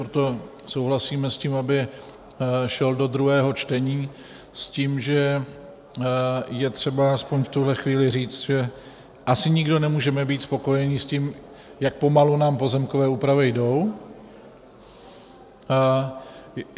Proto souhlasím s tím, aby šel do druhého čtení, s tím, že je třeba alespoň v tuhle chvíli říct, že asi nikdo nemůžeme být spokojení s tím, jak pomalu nám pozemkové úpravy jdou.